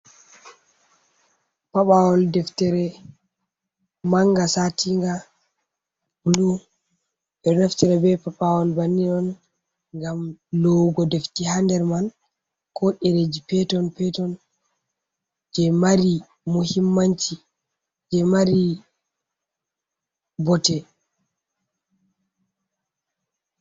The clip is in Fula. Paɓawol deftere manga, satiiga bulu ɓe do naftere be paɓawol bannin on ngam loowugo deftee hader man. ko ɗerejii peton peton jee maari muhimmanci jee maari botte.